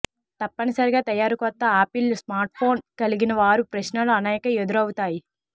తప్పనిసరిగా తయారు కొత్త ఆపిల్ స్మార్ట్ఫోన్ కలిగినవారు ప్రశ్నలు అనేక ఎదురవుతాయి